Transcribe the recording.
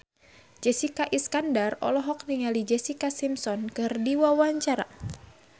Jessica Iskandar olohok ningali Jessica Simpson keur diwawancara